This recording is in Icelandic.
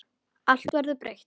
Allt verður breytt.